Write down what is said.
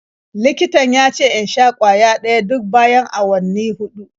Likitan ya ce in sha ƙwaya guda ɗaya duk bayan awanni huɗu.